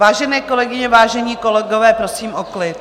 Vážené kolegyně, vážení kolegové, prosím o klid.